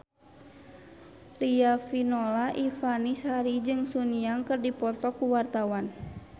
Riafinola Ifani Sari jeung Sun Yang keur dipoto ku wartawan